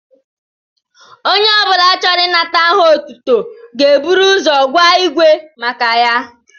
Onye obula chọrọ inata aha otútú ga ébụrụ ụzọ gwa ígwé maka ya